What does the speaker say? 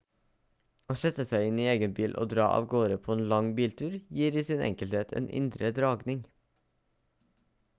å sette seg inn i egen bil og dra avgårde på en lang biltur gir i sin enkelhet en indre dragning